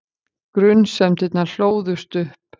Grunsemdirnar hlóðust upp.